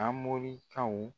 Anmorikaw.